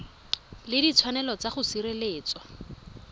le ditshwanelo tsa go sireletswa